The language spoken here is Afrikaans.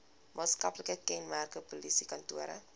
maatskaplike kenmerke polisiekantore